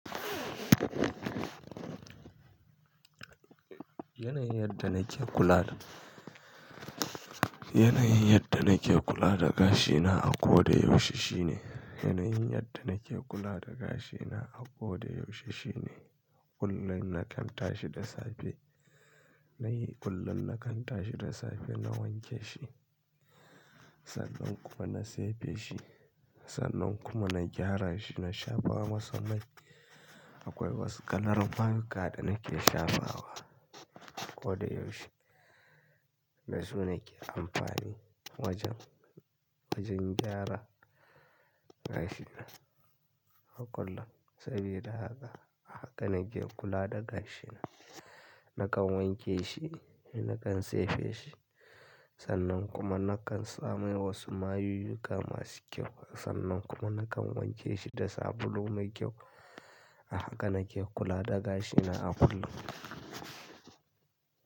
Yanayin yadda nake kula da, yanayin yadda nake kula da gashi na a ko da yaushe shine, yanayin yadda nake kula da gashi na a ko da yaushe shine, kullum nakan tashi da safe, na yi kullum na kan tashi da safe na wanke shi. Sannan kuma na tsefe shi, sannan kuma na gyara shi na shafa masa mai. Akwai wasu kalar fanka da na ke shafawa ko da yaushe. Dasu na ke amfani wajen, wajen gyara gashi na a kullum. Sabida haka, a haka na ke kula da gashi na. Nakan wanke shi, nakan tsefe shi sannan kuma na kan samar wa su mayuyyuka masu kyau. Sannan kuma na kan wanke shi da sabulu mai kyau. A haka na ke kula da gashi na a kullum.